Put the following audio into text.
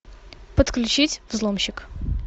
подключить взломщик